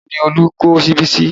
Ibo ni Olú kó síbi sí?